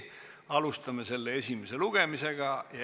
Alustame selle esimest lugemist.